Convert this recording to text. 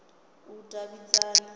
vhudavhidzani